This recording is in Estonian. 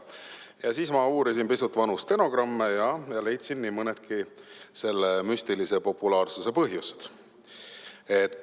Ja nüüd ma uurisin pisut vanu stenogramme ja leidsin nii mõnedki selle müstilise populaarsuse põhjused.